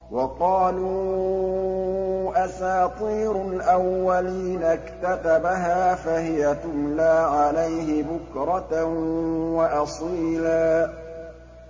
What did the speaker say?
وَقَالُوا أَسَاطِيرُ الْأَوَّلِينَ اكْتَتَبَهَا فَهِيَ تُمْلَىٰ عَلَيْهِ بُكْرَةً وَأَصِيلًا